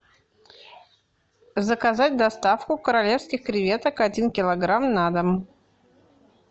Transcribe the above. заказать доставку королевских креветок один килограмм на дом